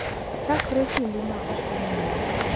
Chakre kinde ma ok ong’ere.